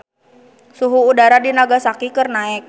Suhu udara di Nagasaki keur naek